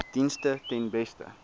dienste ten beste